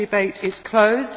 The debate is closed.